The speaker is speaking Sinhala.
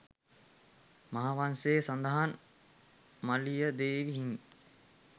මහාවංශයේ සඳහන් මලියදේව හිමි